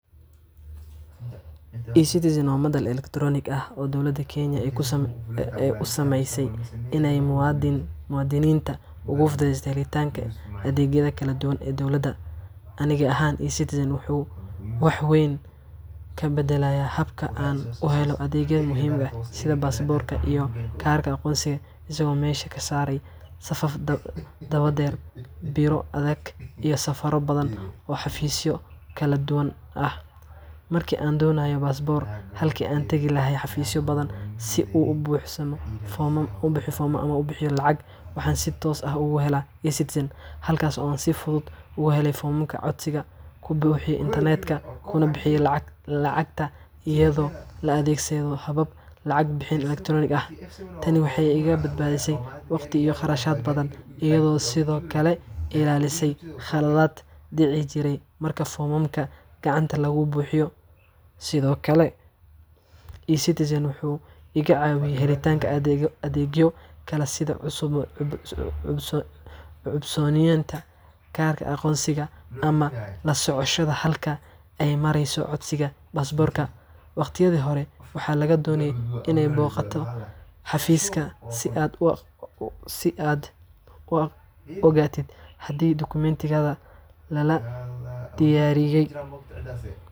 eCitizen waa madal elektaroonik ah oo dowladda Kenya ay u sameysay si ay muwaadiniinta ugu fududeyso helitaanka adeegyada kala duwan ee dowladda. Aniga ahaan, eCitizenka wuxuu wax weyn ka beddelay habka aan u helo adeegyo muhiim ah sida baasaboorka iyo kaarka aqoonsiga, isagoo meesha ka saaray safaf dhaadheer, biro adag, iyo safarro badan oo xafiisyo kala duwan ah. Markii aan doonayay baasaboorka, halkii aan tagi lahaa xafiisyo badan si aan u buuxiyo foomam ama u bixiyo lacag, waxaan si toos ah ugu galay eCitizenka, halkaas oo aan si fudud uga helay foomamka codsiga, ku buuxiyay internetka, kuna bixiyay lacagta iyadoo la adeegsanayo habab lacag bixin elektaroonik ah. Tani waxay iga badbaadisay waqti iyo kharash badan, iyadoo sidoo kale iga ilaalisay khaladaad dhici jiray marka foomamka gacanta lagu buuxiyo. Sidoo kale, eCitizenka wuxuu iga caawiyay helitaanka adeegyo kale sida cusboonaysiinta kaarka aqoonsiga ama la socoshada halka ay marayso codsiga baasaboorka. Waqtiyadii hore, waxaa lagaa doonayay inaad booqato xafiiska si aad u ogaatid haddii dukumeentigaaga la diyaariyey.